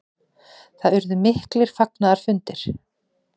Það urðu miklir fagnaðarfundir.